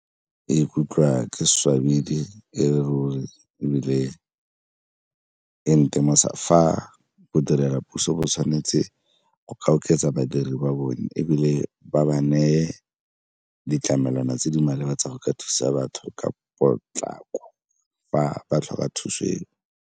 Ke ikutlwa ke swabile e le ruri ebile e ntemosa fa bodirela puso bo tshwanetse go ka oketsa badiri ba bone ebile ba ba neye ditlamelwana tse di maleba tsa go ka thusa batho ka potlako, fa ba tlhoka thuso eo.